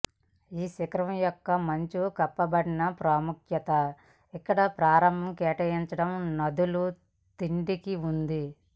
ఈ శిఖరం యొక్క మంచు కప్పబడిన ప్రాముఖ్యత ఇక్కడ ప్రారంభం కేటాయించడం నదులు తిండికి ఉంది